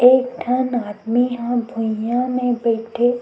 एक ठन आदमी ह भुईया में बइठे--